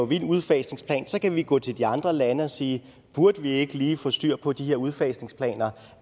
vild udfasningsplan så kan vi gå til de andre lande og sige burde vi ikke lige få styr på de her udfasningplaner